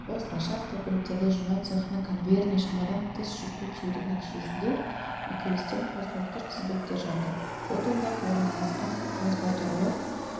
осылайша автокөліктерді жинау цехінің конвейеріне шамадан тыс жүкті тиеудің нәтижесінде үйкелістен қозғалтқыш тізбектер жанды от ондағы орналасқан транспортерлы